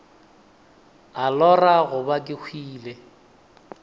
a lora goba ke hwile